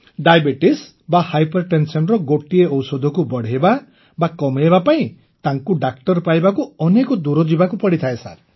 diabetes ବା hypertension ଗୋଟିଏ ଔଷଧକୁ ବଢ଼େଇବା ବା କମାଇବା ପାଇଁ ତାଙ୍କୁ ଡାକ୍ତର ପାଇବାକୁ ଅନେକ ଦୂର ଯିବାକୁ ପଡ଼ିଥାଏ